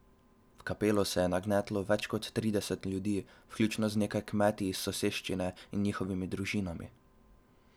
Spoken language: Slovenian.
V kapelo se je nagnetlo več kot trideset ljudi, vključno z nekaj kmeti iz soseščine in njihovimi družinami.